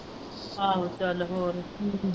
ਆਹੋ ਚੱਲ ਹੋਰ .